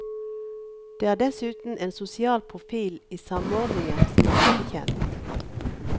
Det er dessuten en sosial profil i samordningen som er lite kjent.